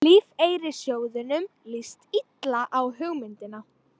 Lífeyrissjóðunum líst illa á hugmyndina